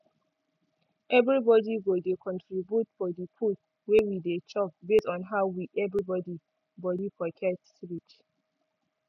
every body go dey contribute for di food wey we dey chop base on how wi every body pocket reach